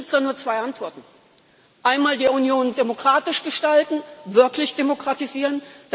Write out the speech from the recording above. Für mich gibt es nur zwei Antworten einmal, die Union demokratisch gestalten, wirklich demokratisieren.